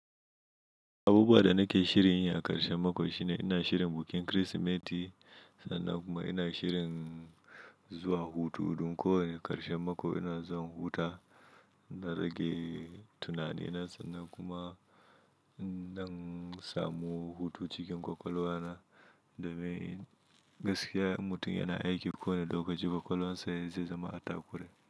Abubuwa da nake shirinya a ƙarshen mako shine ina shirin bukin Kirsimeti sannan kuma ina shirin zuwa hutu. Don ko wane ƙarshen mako ina zuwa inhuta. Na rage tunani na sannan kuma inɗan samu hutu cikin ƙwaƙwalwa na domin gaskiya in mutum yana aiki kowa ne lokacin ƙwaƙwalwansa zai zama a takure.